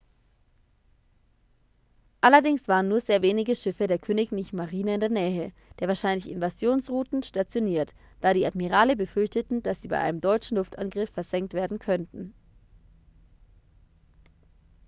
allerdings waren nur sehr wenige schiffe der königlichen marine in der nähe der wahrscheinlichen invasionsrouten stationiert da die admirale befürchteten dass sie bei einem deutschen luftangriff versenkt werden könnten